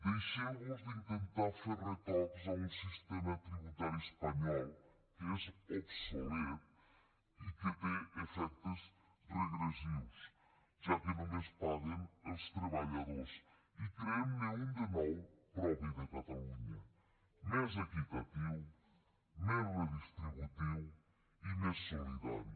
deixeu vos d’intentar fer retocs a un sistema tributari espanyol que és obsolet i que té efectes regressius ja que només paguen els treballadors i creem ne un de nou propi de catalunya més equitatiu més redistributiu i més solidari